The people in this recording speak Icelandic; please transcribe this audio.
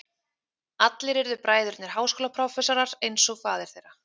Allir urðu bræðurnir háskólaprófessorar eins og faðir þeirra.